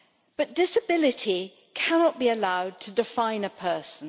But disability cannot be allowed to define a person.